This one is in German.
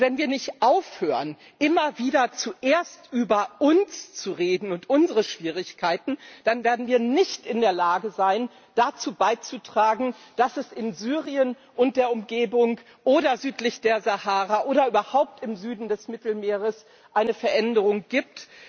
Wenn wir nicht aufhören, immer wieder zuerst über uns zu reden und unsere Schwierigkeiten, dann werden wir nicht in der Lage sein, dazu beizutragen, dass es in Syrien und der Umgebung, oder südlich der Sahara oder überhaupt im Süden des Mittelmeers eine Veränderung gibt.